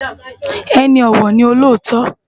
Eni òwò ni ôlótò